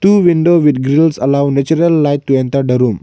two window with grills allow natural light to enter the room.